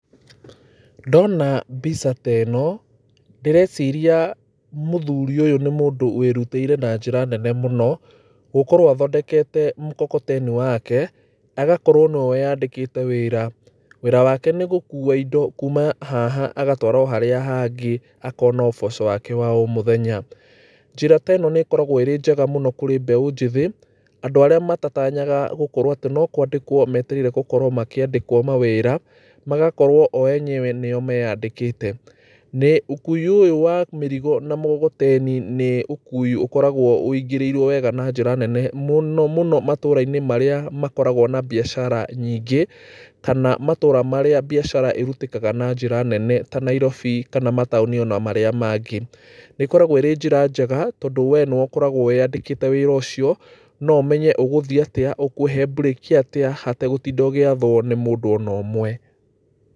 Ndona mbica ta ĩno ndĩreciria mũthuri ũyũ nĩ mũndũ wĩrutĩire na njĩra nene mũno gũkorwo athondekete mkokoteni wake agakorwo nĩwe wĩandikĩte wĩra. Wĩra wake nĩ wa gũkuwa indo kuuma haha agatwara o harĩa hangĩ akona ũboco wake wa o mũthenya. Njĩra ta ĩno nĩ ĩkoragwo arĩ njega kũrĩ mbeũ njĩthĩ, andũ arĩa matatanyaga gũkorwo atĩ no kwandĩkwo metereire gũkorwo makĩandĩkwo mawĩra. Magakorwo o enyewe nĩo meandĩkĩte. Ũkui ũyũ wa mĩrigo na mũgogoteni nĩ ũkui ũkoragwo ũingĩrĩirwo wega mũno na njĩra nene mũno mũno matũũra-inĩ marĩa makoragwo na biacara nyingĩ, kana matũũra marĩa biacara ĩrutĩkaga na njĩra nene ta Nairobi kana mataũni ona marĩa mangĩ. ĩkoragwo ĩrĩ njĩra njega tondũ we nĩwe ũkoragwo wĩandĩkĩte wĩra ũcio. No ũmenye ũgũthiĩ atĩa, ũkũhe mburĩki atĩ hategũtinda ũgĩathwo nĩ mũndũ ona ũmwe.